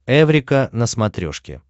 эврика на смотрешке